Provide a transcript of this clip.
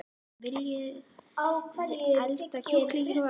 Viljiði elda kjúkling í kvöld?